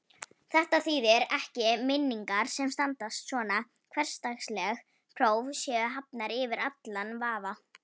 Þetta þýðir ekki að minningar sem standast svona hversdagsleg próf séu hafnar yfir allan vafa.